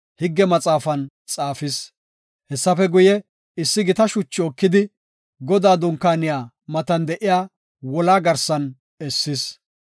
higge maxaafan xaafis. Hessafe guye, issi gita shuchi ekidi, Godaa dunkaaniya matan de7iya wolaa garsan essis.